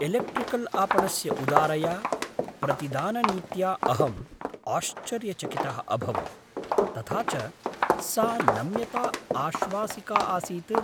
Electrical आपणस्य उदारया प्रतिदाननीत्या अहम् आश्चर्यचकितः अभवं, तथा च सा नम्यता आश्वासिका आसीत्।